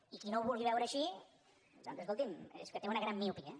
i qui no ho vulgui veure així doncs escolti’m és que té una gran miopia